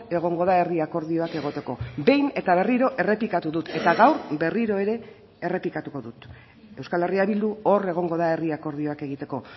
egongo da herri akordioak egoteko behin eta berriro errepikatu dut eta gaur berriro ere errepikatuko dut euskal herria bildu hor egongo da herri akordioak egiteko